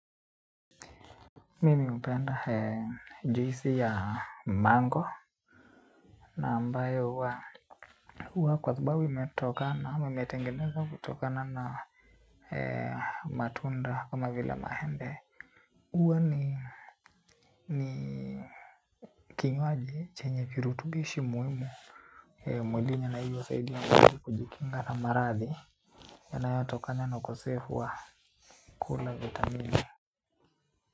Mimi mpenda juisi ya mango. Na ambayo huwa kwa sababu imetokana, ama imetengenezwa kutokana na matunda kama vile mahembe. Uwa ni kinywaji chenye virutubishi muhimu mwilini na hiyo husaidia mwili kujikinga na maradhi yanayo tokana na ukosefu wa kula vitamini.